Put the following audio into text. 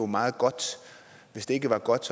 meget godt hvis det ikke var godt